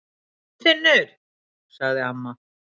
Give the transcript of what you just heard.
ÞORFINNUR! sagði amma.